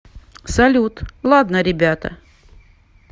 салют ладно ребята